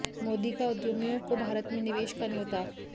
मोदी का उद्यमियों को भारत में निवेश का न्योता